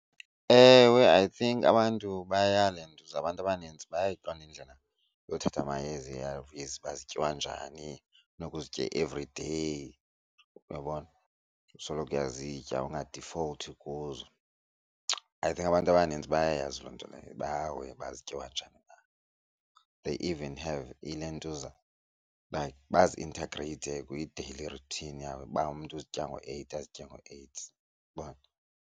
Ewe, I think abantu bayalentuza abantu abanintsi bayayiqonda indlela yokuthatha amayeza ii-A_R_Vs uba zityiwa njani funeka uzitye everyday uyabona, usoloko uyazitya ungadifolthi kuzo. I think abantu abanintsi bayayazi loo nto leyo ba-aware uba zityiwa njani na. They even have ilentuza like bazi-inegreyithe kwi-daily routine yabo uba umntu uzitya ngo-eight azitye ngo-eight .